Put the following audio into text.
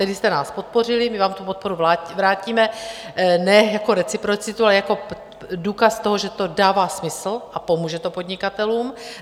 Tehdy jste nás podpořili, my vám tu podporu vrátíme ne jako reciprocitu, ale jako důkaz toho, že to dává smysl a pomůže to podnikatelům.